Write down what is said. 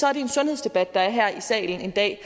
er en sundhedsdebat der er i salen en dag